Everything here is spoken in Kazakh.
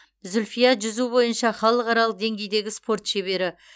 зүльфия жүзу бойынша халықаралық деңгейдегі спорт шебері